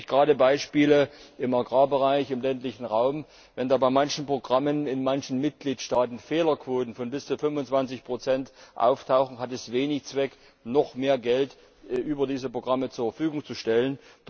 Wir haben natürlich gerade im Agrarbereich im ländlichen Raum Beispiele Wenn da bei manchen Programmen in manchen Mitgliedstaaten Fehlerquoten von bis zu 25 auftauchen, hat es wenig Zweck, noch mehr Geld über diese Programme zur Verfügung zu stellen.